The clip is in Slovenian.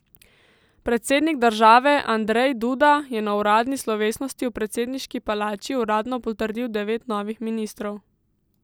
Predsednik države Andrzej Duda je na uradni slovesnosti v predsedniški palači uradno potrdil devet novih ministrov.